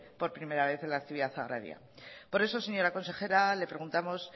por primera vez en la actividad agraria por eso señora consejera le preguntamos